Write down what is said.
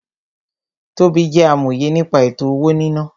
Tobí jẹ́ amòye nípa ètò-owó-níná